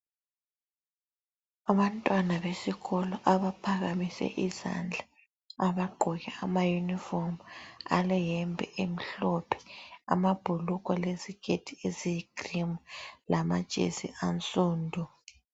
Abantwana besikolo abaphakamise izandla. Abagqoke amayunifomu aleyembe emhlophe, amabhulugwe leziketi eziyi (cream) lama jesi ansundu.